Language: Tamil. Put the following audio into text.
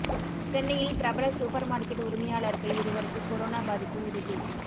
சென்னையில் பிரபல சூப்பர் மார்க்கெட் உரிமையாளர்கள் இருவருக்கு கொரோனா பாதிப்பு உறுதி